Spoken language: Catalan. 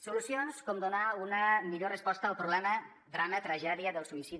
solucions com donar una millor resposta al problema drama tragèdia del suïcidi